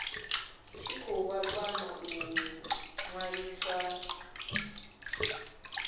tshi khou kwama u ṅwaliswa